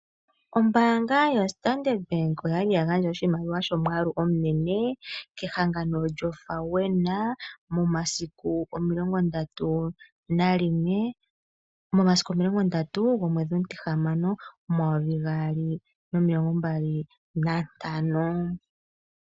Ombaanga yostandard Bank oya li ya gandja oshimaliwa shomwaalu omunene kehangano lyoFAWENA momasiku omilongo ndatu gomwedhi omutihamano 2025.